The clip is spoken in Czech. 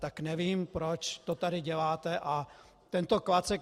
Tak nevím, proč to tady děláte a tento klacek...